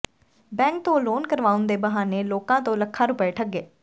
bank ਤੋਂ loan ਕਰਵਾਉਣ ਦੇ ਬਹਾਨੇ ਲੋਕਾਂ ਤੋਂ ਲੱਖਾਂ ਰੁਪਏ ਠੱਗੇ